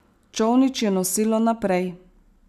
Čolnič je nosilo naprej.